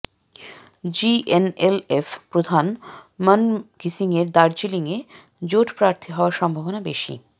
GNLF প্রধান মন ঘিসিংয়ের দার্জিলিংয়ে জোট প্রার্থী হওয়ার সম্ভাবনা বেশি